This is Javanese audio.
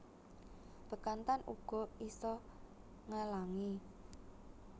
Bekantan uga isa ngelangi